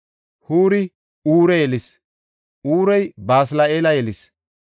Huuri Ure yelis; Urey Basli7eela yelis.